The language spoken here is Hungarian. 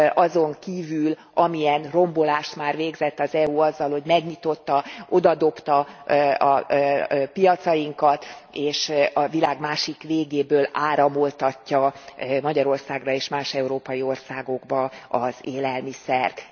azon kívül, amilyen rombolást már végzett az EU azzal, hogy megnyitotta, odadobta piacainkat, és a világ másik végéből áramoltatja Magyarországra és más európai országokba az élelmiszert.